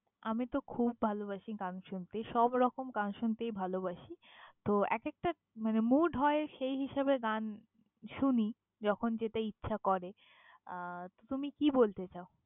আমি তো খুব ভালবাসি গান শুনতে, সবরকম গান শুনতেই ভালবাসি তো এক একটা মানে mood হয় সেই হিসাবে গান শুনি, যখন যেটা ইচ্ছে করে আহ তুমি কি বলতে চাও?